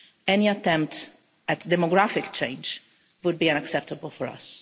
Any attempt at demographic change would be unacceptable for us.